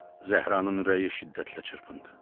Zəhranın ürəyi şiddətlə çırpındı.